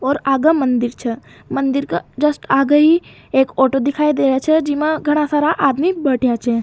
और आग मंदिर छ मंदिर का जस्ट आगे ही एक ऑटो दिखाई दे रहा छ जिमा घणा सारा आदमी बैठा छ।